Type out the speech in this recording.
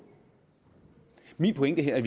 min pointe er